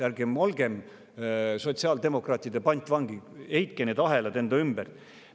Ärgem olgem sotsiaaldemokraatide pantvangid, heitke need ahelad enda ümbert.